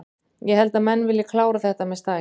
Ég held að menn vilji klára þetta með stæl.